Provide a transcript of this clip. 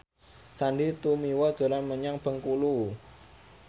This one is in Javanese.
Sandy Tumiwa dolan menyang Bengkulu